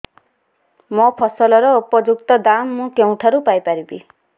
ମୋ ଫସଲର ଉପଯୁକ୍ତ ଦାମ୍ ମୁଁ କେଉଁଠାରୁ ପାଇ ପାରିବି